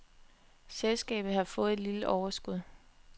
Selskabet har fået et lille overskud.